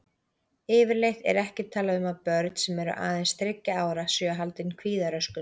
Yfirleitt er ekki talað um að börn sem eru aðeins þriggja ára séu haldin kvíðaröskun.